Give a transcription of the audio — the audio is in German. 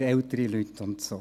für ältere Leute und so.